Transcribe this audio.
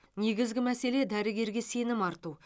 негізгі мәселе дәрігерге сенім арту